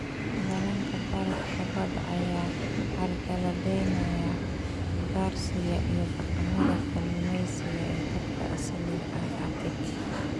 Dhallaanka barafka badda ayaa carqaladeynaya ugaarsiga iyo dhaqamada kalluumeysiga ee dadka asaliga ah ee Arctic.